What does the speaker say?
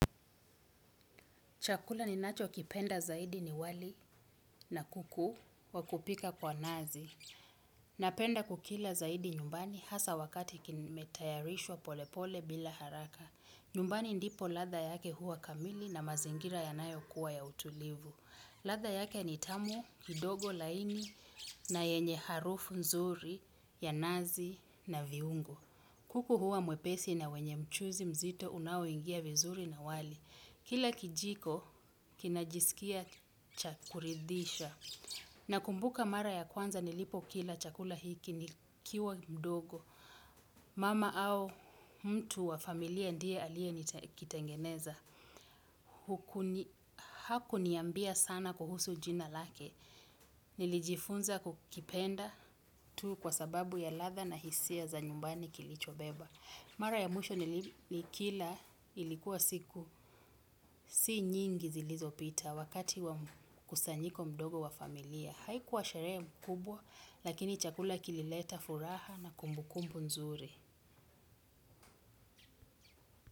Chakula ninachokipenda zaidi ni wali na kuku wa kupika kwa nazi. Napenda kukila zaidi nyumbani hasa wakati kimetayarishwa pole pole bila haraka. Nyumbani ndipo ladha yake huwa kamili na mazingira yanayokuwa ya utulivu. Ladha yake ni tamu, kidogo laini na yenye harufu nzuri ya nazi na viungo. Kuku huwa mwepesi na wenye mchuzi mzito unoingia vizuri na wali. Kila kijiko, kinajisikia cha kuridhisha. Nakumbuka mara ya kwanza nilipokila chakula hiki nikiwa mdogo. Mama au mtu wa familia ndiye aliye kitengeneza. Hakuniambia sana kuhusu jina lake. Nilijifunza kukipenda tu kwa sababu ya ladha na hisia za nyumbani kilicho beba. Mara ya mwisho nikila ilikuwa siku si nyingi zilizopita wakati mkusanyiko mdogo wa familia. Haikuwa sherehe kubwa, lakini chakula kilileta furaha na kumbu kumbu nzuri.